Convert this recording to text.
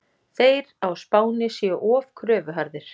Þeir á Spáni séu of kröfuharðir.